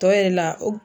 Tɔ yɛrɛ la o